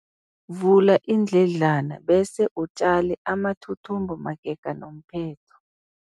Vula iindledlana bese utjale amathuthumbo magega nomphetho.